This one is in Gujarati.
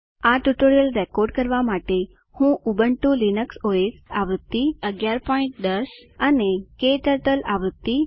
આ ટ્યુટોરીયલ રેકોર્ડ કરવા માટે હું ઉબુન્ટુ લીનક્સ ઓએસ આવૃત્તિ 1110 અને ક્ટર્ટલ આવૃત્તિ